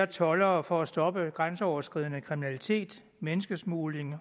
toldere for at stoppe grænseoverskridende kriminalitet menneskesmugling